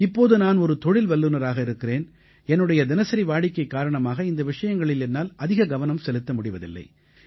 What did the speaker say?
இப்போது நான் ஒரு தொழில் வல்லுனராக இருக்கிறேன் என்னுடைய தினசரி வாடிக்கை காரணமாக இந்த விஷயங்களில் என்னால் அதிக கவனம் செலுத்த முடிவதில்லை